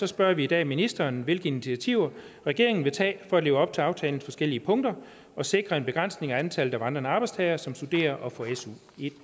spørger vi i dag ministeren hvilke initiativer regeringen vil tage for at leve op til aftalens forskellige punkter og sikre en begrænsning af antallet af vandrende arbejdstagere som studerer og får su i